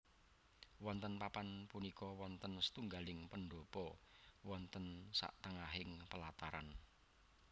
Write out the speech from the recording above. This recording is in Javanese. Wonten papan punika wonten satunggaling pendhapa wonten satengahing pelataran